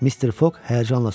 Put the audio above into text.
Mister Foq həyəcanla soruşdu: